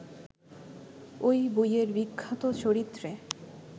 ওই বইয়ের বিখ্যাত চরিত্রে